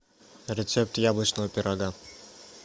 рецепт яблочного пирога